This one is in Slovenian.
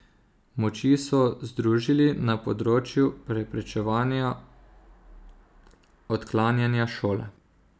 Moči so združili na področju preprečevanja odklanjanja šole.